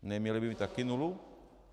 Neměli by mít také nulu?